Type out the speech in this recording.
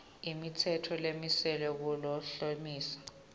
imitsetfo lemiselwe kuklomelisa